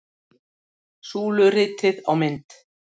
Súluritið á mynd